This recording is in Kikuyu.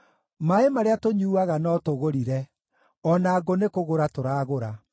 Maaĩ marĩa tũnyuuaga no tũgũrire; o na ngũ nĩkũgũra tũragũra.